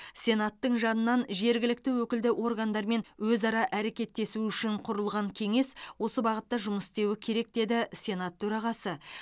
сенаттың жанынан жергілікті өкілді органдармен өзара әрекеттесу үшін құрылған кеңес осы бағытта жұмыс істеуі керек деді сенат төрағасы